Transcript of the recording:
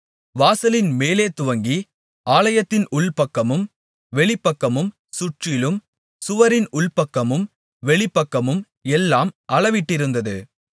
வாசலின் மேலேதுவங்கி ஆலயத்தின் உள்பக்கமும் வெளிப்பக்கமும் சுற்றிலும் சுவரின் உள்பக்கமும் வெளிப்பக்கமும் எல்லாம் அளவிட்டிருந்தது